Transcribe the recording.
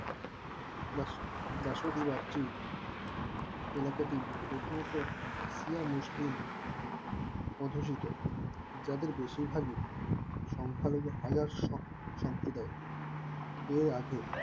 বাসু~ বাসুদেবাত্রি এলাকাটি প্রথমত কিয়া মুসলিম আটশত যাদের বেশিরভাগই সংখ্যালঘে হাজার এই আগে